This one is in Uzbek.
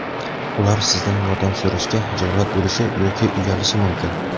Ular sizdan yordam so‘rashga xijolat bo‘lishi yoki uyalishi mumkin.